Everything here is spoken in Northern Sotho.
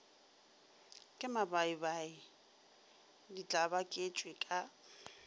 ke mabaibai di tlabaketšwe ka